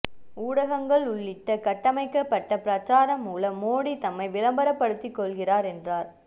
ஊடகங்கள் உள்ளிட்ட கட்டமைக்கப்பட்ட பிரசாரம் மூலம் மோடி தம்மை விளம்பரப்படுத்திக் கொள்கிறார் என்றார்